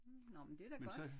Nå men det da godt